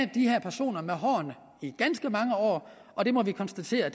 de her personer med hårene i ganske mange år og det må vi konstatere